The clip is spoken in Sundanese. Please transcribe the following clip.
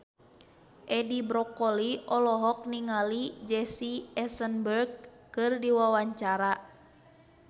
Edi Brokoli olohok ningali Jesse Eisenberg keur diwawancara